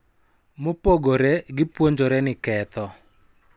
Mopogore, gipuonjore ni ketho .